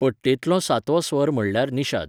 पट्टेंतलो सातवो स्वर म्हळ्यार निषाद.